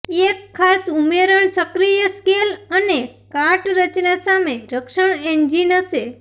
એક ખાસ ઉમેરણ સક્રિય સ્કેલ અને કાટ રચના સામે રક્ષણ એન્જિન હશે